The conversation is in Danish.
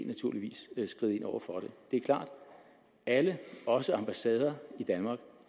naturligvis skride ind over for det det er klart alle også ambassader i danmark